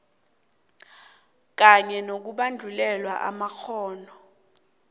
kanye nokubandulelwa amakghono